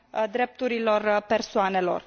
drepturilor persoanelor.